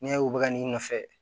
N'i y'a u bɛ n'i nɔfɛ